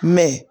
Mɛ